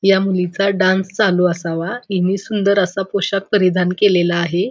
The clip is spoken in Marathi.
या मुलीचा डान्स चालू असावा हिने सुंदर असा पोशाख परिधान केलेला आहे.